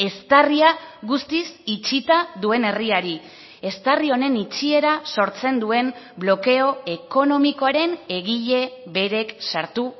eztarria guztiz itxita duen herriari eztarri honen itxiera sortzen duen blokeo ekonomikoaren egile berek sartu